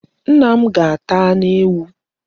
Nna m ga-ata anu ewu